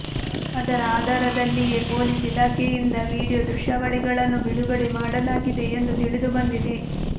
ಅದರ ಆಧಾರದಲ್ಲಿಯೇ ಪೊಲೀಸ್ ಇಲಾಖೆಯಿಂದ ವಿಡಿಯೊ ದೃಶ್ಯಾವಳಿಗಳನ್ನು ಬಿಡುಗಡೆ ಮಾಡಲಾಗಿದೆ ಎಂದು ತಿಳಿದು ಬಂದಿದೆ